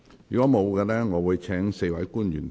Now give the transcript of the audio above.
如果沒有，我會請4位官員......